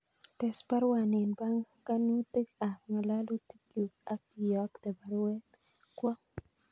Tes baruani en panganutig ab ngalalutikyuk ak iyokte baruet kwo